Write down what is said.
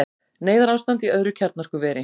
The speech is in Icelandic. Neyðarástand í öðru kjarnorkuveri